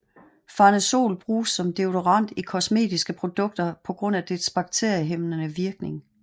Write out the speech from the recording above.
Farnesol bruges som deodorant i kosmetiske produkter på grund af dets bakteriehæmmende virkning